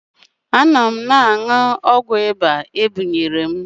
Ana m aṅụ ọgwụ ịba e gbunyere m